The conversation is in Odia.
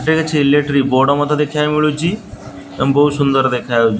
ଏଠାରେ କିଛି ଇଲେକ୍ଟ୍ରିା ବୋର୍ଡ ମଧ୍ୟ ଦେଖିବାକୁ ମିଳୁଚି ଏବଂ ବୋହୁତ ସୁନ୍ଦର ଦେଖାଯାଉ --